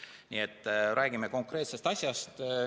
Nii et räägime konkreetsest asjast.